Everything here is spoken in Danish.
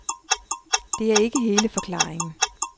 Det er ikke hele forklaringen.